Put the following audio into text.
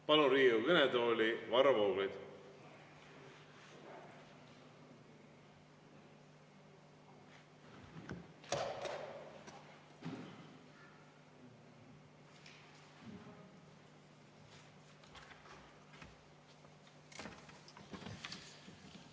Palun Riigikogu kõnetooli, Varro Vooglaid!